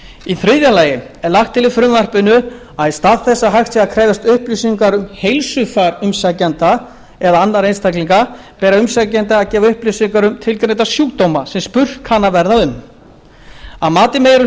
í þriðja lagi er lagt til í frumvarpinu að í stað þess að hægt sé að krefjast upplýsinga um heilsufar umsækjanda eða annarra einstaklinga beri umsækjanda að gefa upplýsingar um tilgreinda sjúkdóma sem spurt kann að verða um að mati meiri